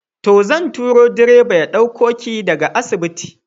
To, zan turo direba ya ɗauko ki daga asibitin.